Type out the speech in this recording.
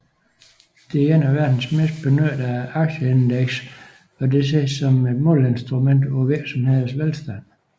Det er et af de mest benyttede aktieindeks og det ses som et måleinstrument for virksomhedernes velstand